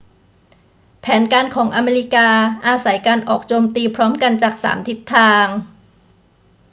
แผนการของอเมริกาอาศัยการออกโจมตีพร้อมกันจากสามทิศทาง